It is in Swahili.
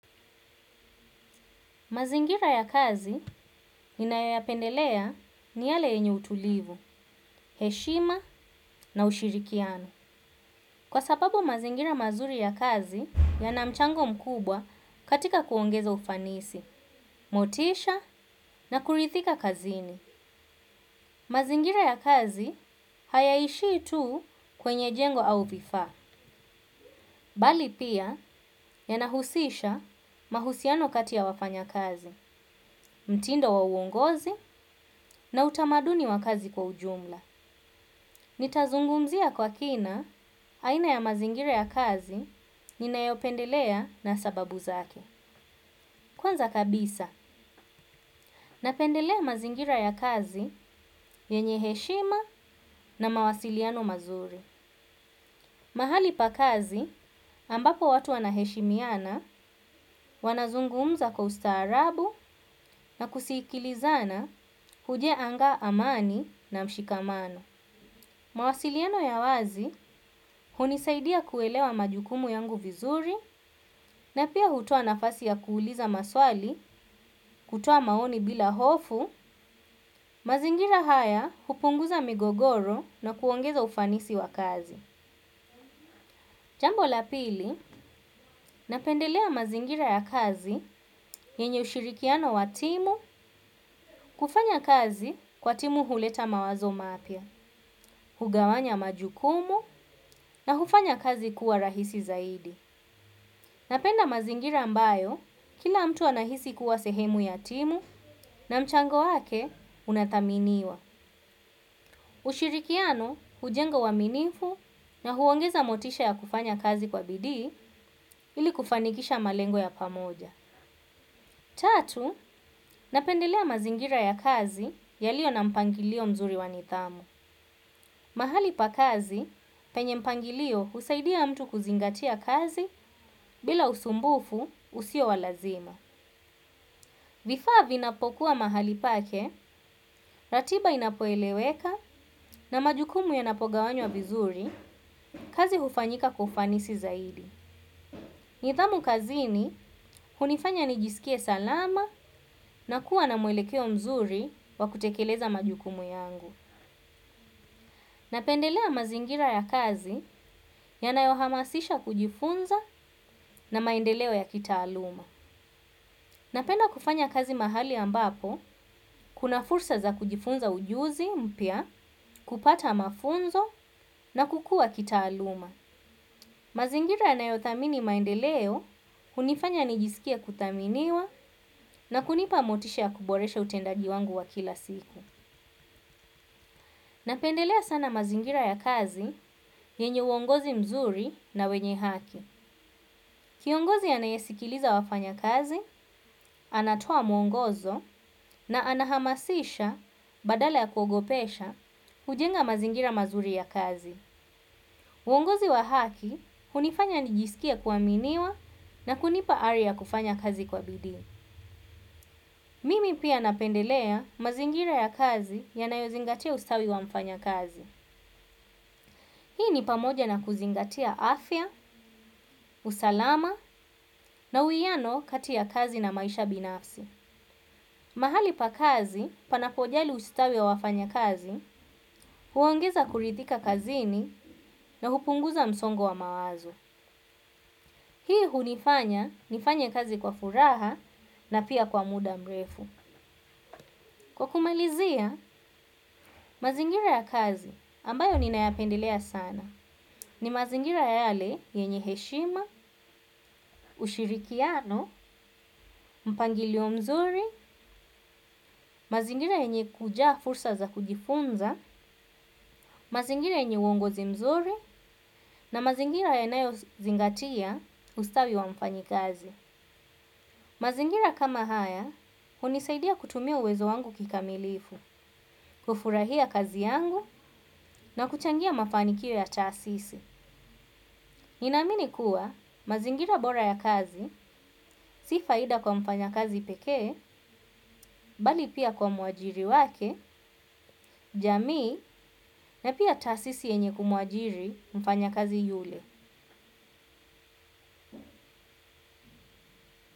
Mazingira ya kazi ninayoyapendelea ni yale yenye utulivu, heshima na ushirikiano. Kwa sababu mazingira mazuri ya kazi yana mchango mkubwa katika kuongeza ufanisi, motisha na kurithika kazini. Mazingira ya kazi hayaishii tu kwenye jengo au vifaa. Bali pia yanahusisha mahusiano kati ya wafanyakazi, mtindo wa uongozi na utamaduni wa kazi kwa ujumla. Nitazungumzia kwa kina aina ya mazingira ya kazi ninayopendelea na sababu zake. Kwanza kabisa, napendelea mazingira ya kazi yenye heshima na mawasiliano mazuri. Mahali pa kazi ambapo watu wanaheshimiana wanazungumza kwa ustaarabu na kusikilizana hujenga amani na mshikamano. Mawasiliano ya wazi hunisaidia kuelewa majukumu yangu vizuri na pia hutoa nafasi ya kuuliza maswali kutoa maoni bila hofu, mazingira haya hupunguza migogoro na kuongeza ufanisi wa kazi. Jambo la pili, napendelea mazingira ya kazi yenye ushirikiano wa timu kufanya kazi kwa timu huleta mawazo mapya, hugawanya majukumu na hufanya kazi kuwa rahisi zaidi. Napenda mazingira ambayo kila mtu anahisi kuwa sehemu ya timu na mchango wake unathaminiwa. Ushirikiano hujenga uaminifu na huongeza motisha ya kufanya kazi kwa bidii ili kufanikisha malengo ya pamoja. Tatu, napendelea mazingira ya kazi yaliyo na mpangilio mzuri wa nidhamu. Mahali pa kazi, penye mpangilio husaidia mtu kuzingatia kazi bila usumbufu usio wa lazima. Vifaa vinapokuwa mahali pake, ratiba inapoeleweka na majukumu yanapogawanywa vizuri, kazi hufanyika kwa ufanisi zaidi. Nidhamu kazini, hunifanya nijiskie salama na kuwa na mwelekeo mzuri wa kutekeleza majukumu yangu. Napendelea mazingira ya kazi yanayohamasisha kujifunza na maendeleo ya kitaaluma. Napenda kufanya kazi mahali ambapo, kuna fursa za kujifunza ujuzi mpya, kupata mafunzo na kukua kitaaluma. Mazingira yanayothamini maendeleo hunifanya nijiskie kuthaminiwa na kunipa motisha ya kuboresha utendaji wangu wa kila siku. Napendelea sana mazingira ya kazi, yenye uongozi mzuri na wenye haki. Kiongozi anayesikiliza wafanyakazi anatoa mwongozo na anahamasisha badala ya kuogopesha hujenga mazingira mazuri ya kazi. Uongozi wa haki hunifanya nijiskie kuaminiwa na kunipa ari ya kufanya kazi kwa bidii Mimi pia napendelea mazingira ya kazi yanayozingatia ustawi wa mfanyakazi. Hii ni pamoja na kuzingatia afya, usalama na uwiano kati ya kazi na maisha binafsi. Mahali pa kazi, panapojali ustawi ya wafanyakazi, huongeza kurithika kazini na hupunguza msongo wa mawazo. Hii hunifanya, nifanya kazi kwa furaha na pia kwa muda mrefu. Kwa kumalizia, mazingira ya kazi ambayo ninayapendelea sana. Ni mazingira yale yenye heshima, ushirikiano, mpangilio mzuri, mazingira yenye kujaa fursa za kujifunza, mazingira yenye uongozi mzuri na mazingira yanayozingatia ustawi wa mfanyikazi. Mazingira kama haya, hunisaidia kutumia uwezo wangu kikamilifu, kufurahia kazi yangu na kuchangia mafanikio ya taasisi. Ninamini kuwa, mazingira bora ya kazi, si faida kwa mfanyakazi pekee, bali pia kwa mwajiri wake, jamii na pia taasisi yenye kumuajiri mfanyakazi yule.